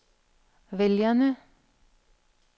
vælgerne